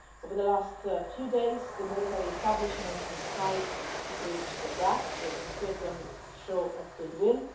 Over the last few days, the military establishment has tried to bridge the gap with a certain show of goodwill.